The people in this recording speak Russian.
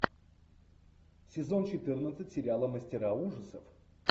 сезон четырнадцать сериала мастера ужасов